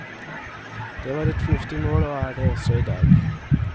Det var et fornuftig mål og er det også i dag.